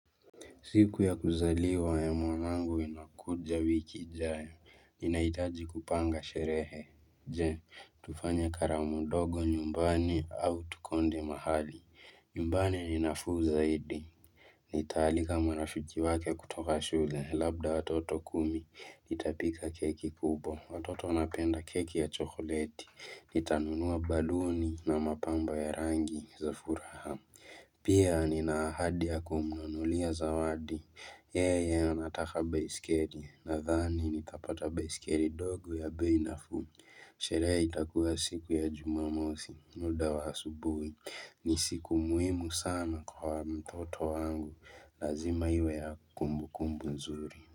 Siku ya kuzaliwa ya mwanangu inakuja wiki ijayo, ninahitaji kupanga sherehe, je, tufanye karamu ndogo nyumbani au tukonde mahali, nyumbani ni nafuu zaidi. Nitaalika marafiki wake kutoka shule, labda watoto kumi, nitapika keki kubwa, watoto wanapenda keki ya chokoleti, nitanunua baluni na mapamba ya rangi, za furaha. Pia nina ahadi ya kumnunulia zawadi Yeye anataka bisikeli Nathani nitapata bisikeli ndogo ya bei nafuu Sherehe itakuwa siku ya juma mosi muda wa asubuhi ni siku muhimu sana kwa mtoto wangu Lazima iwe ya kumbukumbu nzuri.